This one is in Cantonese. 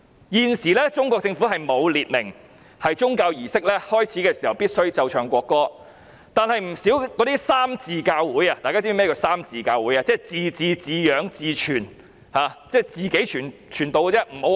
現時中國政府沒有訂明宗教儀式開始時必須奏唱國歌，但不少三自教會——大家是否知道甚麼是三自教會？